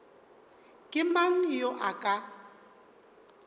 ke mang yo a ka